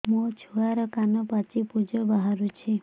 ମୋ ଛୁଆର କାନ ପାଚି ପୁଜ ବାହାରୁଛି